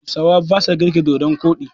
Hausawa basa girki da dodon koɗi.